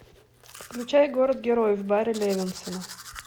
включай город героев барри левинсона